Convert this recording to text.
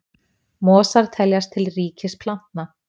Mosar teljast til ríkis plantna.